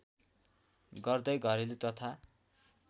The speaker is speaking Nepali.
गर्दै घरेलु तथा